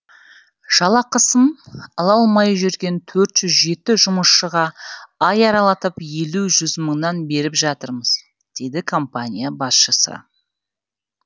жалақысын ала алмай жүрген төрт жүз жеті жұмысшыға ай аралатып елу жүз мыңнан беріп жатырмыз дейді компания басшысы